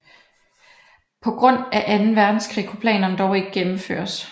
På grund af Anden Verdenskrig kunne planerne dog ikke gennemføres